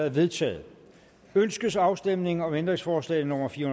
er vedtaget ønskes afstemning om ændringsforslag nummer fire